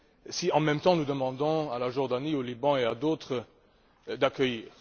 si en même temps nous demandons à la Jordanie, au Liban et à d'autres pays de les accueillir.